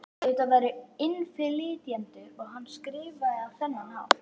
Ef þetta væru innflytjendur og hann skrifaði á þennan hátt?